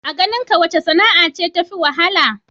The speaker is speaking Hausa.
A ganinka wace sana'a ce tafi wahala?